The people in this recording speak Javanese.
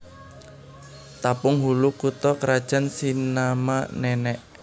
Tapung Hulu kutha krajan Sinama Nenek